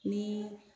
Ni